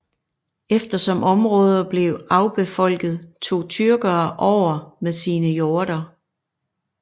Efter som områder blev afbefolket tog tyrkere over med sine hjorder